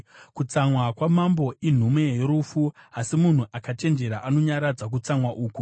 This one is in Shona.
Kutsamwa kwamambo inhume yorufu, asi munhu akachenjera anonyaradza kutsamwa uku.